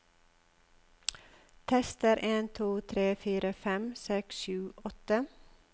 Tester en to tre fire fem seks sju åtte